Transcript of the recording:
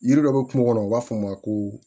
Yiri dɔ bɛ kungo kɔnɔ u b'a fɔ o ma ko